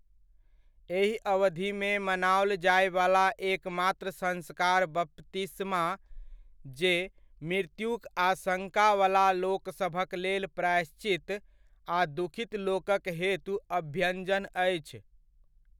एहि अवधिमे मनाओल जायवला एकमात्र संस्कार बपतिस्मा जे मृत्युक आशङ्कावला लोकसभकलेल प्रायश्चित, आ दुखित लोकक हेतु अभ्यञ्जन अछि।